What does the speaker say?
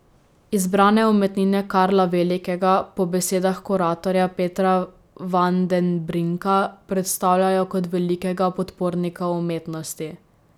Izbrane umetnine Karla Velikega po besedah kuratorja Petra van den Brinka predstavljajo kot velikega podpornika umetnosti.